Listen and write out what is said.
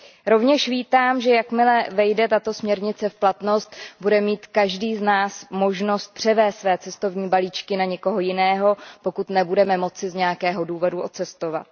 Rovněž vítám, že jakmile vejde tato směrnice v platnost, bude mít každý z nás možnost převést své cestovní balíčky na někoho jiného, ​​pokud nebudeme moci z nějakého důvodu odcestovat.